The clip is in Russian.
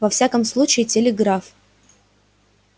во всяком случае телеграф